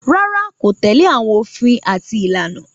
Rárá, kò tẹ́lẹ̀ àwọn òfin àti àwọn ìlànà